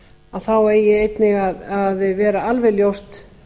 heilbrigðisþjónustu þá eigi einnig að vera alveg ljóst